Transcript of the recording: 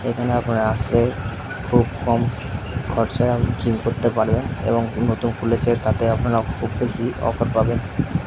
এখানে আপনারা আসে খুব কম খরচায় জিম করতে পারবেন এবং নতুন খুলেছে তাতে আপনারা খুব বেশি অফার পাবেন।